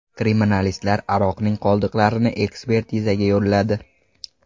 Kriminalistlar aroqning qoldiqlarini ekspertizaga yo‘lladi.